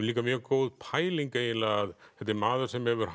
líka mjög góð pæling að þetta er maður sem hefur